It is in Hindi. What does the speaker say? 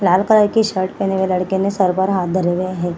लाल कलर की शर्ट पहने हुए लड़के ने सर पर हाथ धरे हुए हैं ।